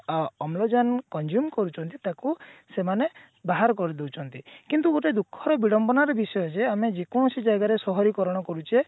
ଅ ଅମ୍ଳଜାନ consume କରୁଛନ୍ତି ତାକୁ ସେମାନେ ବାହାର କରି ଦଉଛନ୍ତି କିନ୍ତୁ ଗୋଟେ ଦୁଖଃ ର ବିଡମ୍ବନା ର ବିଷୟ ଯେ ଆମେ ଯେକୌଣସି ଜାଗାରେ ସହରିକରଣ କରୁଛେ